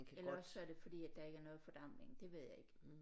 Eller også så er det fordi at der ikke er noget fordampning det ved jeg ikke